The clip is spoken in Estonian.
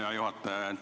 Hea juhataja!